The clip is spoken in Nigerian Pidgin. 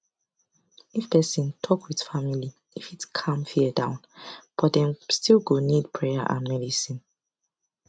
if person talk with family e fit calm fear down but dem still go need prayer and medicine